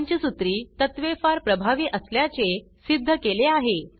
पंचसूत्री तत्त्वे फार प्रभावी असल्याचे सिद्ध केले आहे